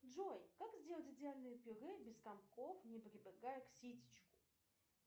джой как сделать идеальное пюре без комков не прибегая к ситечку